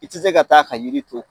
I te se ka taa ka yiri to